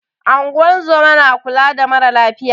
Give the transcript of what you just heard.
Ingozuma na kula da mara lafiya